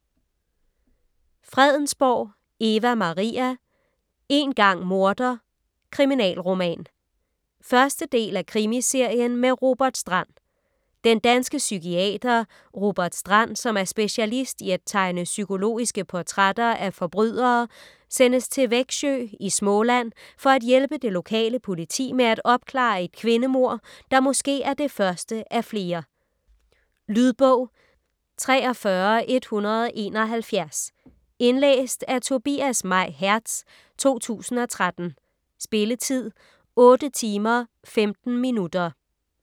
Fredensborg, Eva Maria: Én gang morder: kriminalroman 1. del af Krimiserien med Robert Strand. Den danske psykiater Robert Strand, som er specialist i at tegne psykologiske portrætter af forbrydere sendes til Växjö i Småland for at hjælpe det lokale politi med at opklare et kvindemord, der måske er det første af flere. Lydbog 43171 Indlæst af Tobias May Hertz, 2013. Spilletid: 8 timer, 15 minutter.